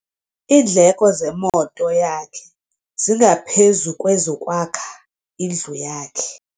Iindleko zemoto yakhe zingaphezu kwezokwakha indlu yakhe.